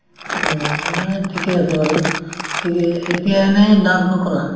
উম, নাই ঠিকে আছে বাৰু ঠিকে এতিয়া এনে dance নকৰা